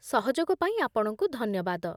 ସହଯୋଗ ପାଇଁ ଆପଣଙ୍କୁ ଧନ୍ୟବାଦ